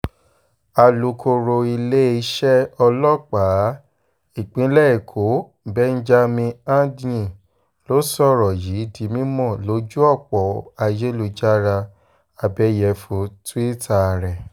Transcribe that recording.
alūkọ̀rọ̀ iléeṣẹ́ ọlọ́pàá ìpínlẹ̀ èkó s benjamin hondyin ló sọ̀rọ̀ yìí di mímọ́ lójú ọ̀pọ̀ ayélujára abẹ́yẹfọ́ túìta rẹ̀